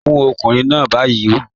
Mu ọkùnrin náà ni bayí.